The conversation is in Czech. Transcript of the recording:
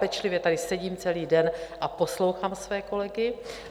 Pečlivě tady sedím celý den a poslouchám svoje kolegy.